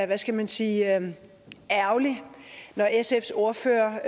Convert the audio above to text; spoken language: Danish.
hvad skal man sige ærgerlig når sfs ordfører